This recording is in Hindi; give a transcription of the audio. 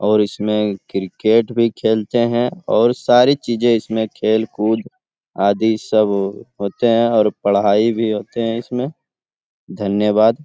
और इसमें क्रिकेट भी खेलते हैं और सारी चीजें इसमें खेल-कूद आदि सब होते हैं और पढाई भी होते हैं इसमें धन्यवाद।